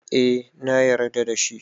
Eh na yarda da shi